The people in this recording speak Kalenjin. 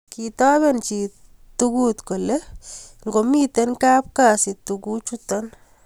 kitoben chi tugut kole ngamito kapkazi tunguchilo